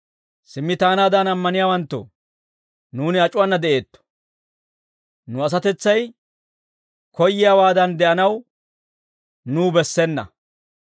Simmi taanaadan ammaniyaawanttoo, nuuni ac'uwaana de'eetto; nu asatetsay koyyiyaawaadan de'anaw nuw bessena.